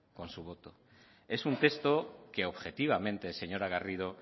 con su voto es un texto que objetivamente señora garrido